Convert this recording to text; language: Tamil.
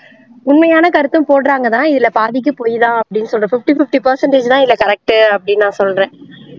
உண்மையான கருத்தும் போடுறாங்க தான் இதில பாதிக்கு பொய் தான் அப்படின்னு சொல்றேன் fifty fifty percentage தான் இதில correct உ அப்படின்னு நான் சொல்றேன்